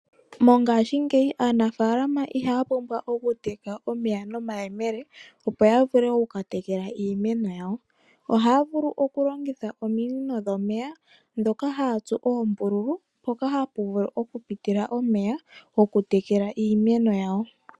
Mongaashingeyi aanafaalama ihaa pumbwa okuteka omeya nomayemele opo ya vule okuka tekela iimeno yawo. Ohaya vulu okulongitha ominino dhomeya ndhoka haa tsu oombululu mpoka hapu vulu okupitila omeya okutekela iimeno yawo.